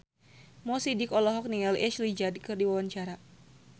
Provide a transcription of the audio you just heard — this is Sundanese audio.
Mo Sidik olohok ningali Ashley Judd keur diwawancara